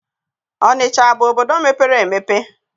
Ọnịcha abụ obodo mepere emepe?